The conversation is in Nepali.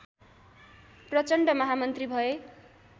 प्रचण्ड महामन्त्री भए